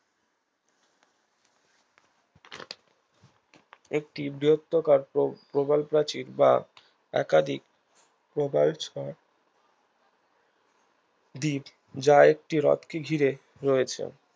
একটি বৃহদাকার প্র প্রবালপ্রাচীর বা একাধিক প্রবালঝড় দ্বীপ যা একটি হ্রদ কে ঘিরে রয়েছে